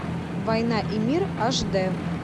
война и мир аш дэ